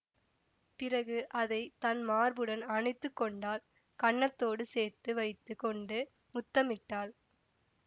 பிறகு அதை தன் மார்புடன் அணைத்து கொண்டாள் கன்னத்தோடு சேர்த்து வைத்து கொண்டு முத்தமிட்டாள்